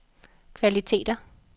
kvaliteter